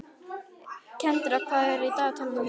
Kendra, hvað er á dagatalinu mínu í dag?